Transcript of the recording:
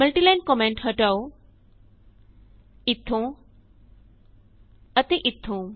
multiline comment ਹਟਾਉ ਇਥੋਂ ਅਤੇ ਇਥੋਂ